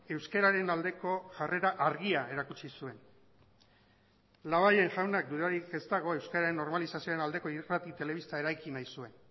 euskararen aldeko jarrera argia erakutsi zuen labayen jaunak dudarik ez dago euskararen normalizazioaren aldeko irrati telebista eraiki nahi zuen